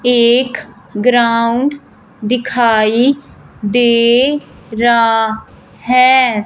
एक ग्राउंड दिखाई दे रा है।